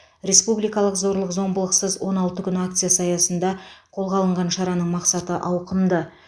республикалық зорлық зомбылықсыз он алты күн акциясы аясында қолға алынған шараның мақсаты ауқымды